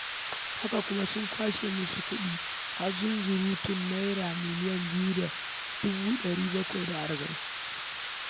Haka kuma, sun kwashe masa zunzurutun kuɗi har Naira miliyan biyu da dubu ɗari bakwai da arba’in.